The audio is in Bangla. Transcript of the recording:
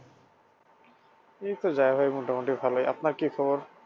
এইতো যায় ভাই মোটামুটি ভালই আপনার কি খবর?